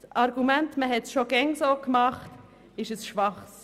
Das Argument, man habe das schon immer so gemacht, ist schwach.